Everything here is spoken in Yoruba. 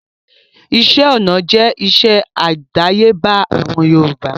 Iṣẹ́ ọná jẹ́ iṣẹ́ àdáyébá àwọn Yorùbá